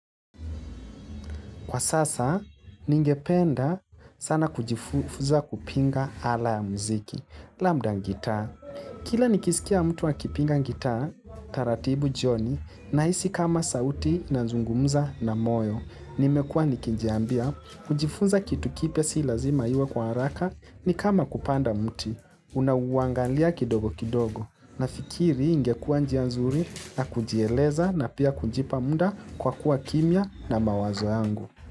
Kwa sasa, ningependa sana kujifuza kupinga ala ya mziki, labda gitaa. Kila nikisikia mtu akipinga ngitaa, taratibu jioni, na hisi kama sauti inazungumza na moyo. Nimekua nikijiambia, kujifuza kitu kipya si lazima iwe kwa haraka, ni kama kupanda mti. Unauangalia kidogo kidogo nafikiri ingekuwa njia nzuri na kujieleza na pia kujipa muda kwa kuwa kimya na mawazo yangu.